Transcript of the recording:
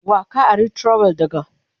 Wa ka ari trowel daga?